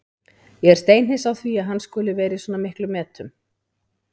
Ég er steinhissa á því að hann skuli vera í svona miklum metum.